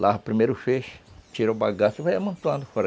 Lava o primeiro feixe, tira o bagaço e vai amontoando fora.